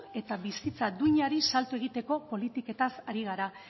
eta bizitza duinari salto egiteko politiketaz ari gara